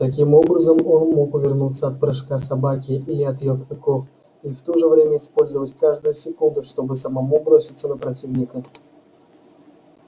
таким образом он мог увернуться от прыжка собаки или от её клыков и в то же время использовать каждую секунду чтобы самому броситься на противника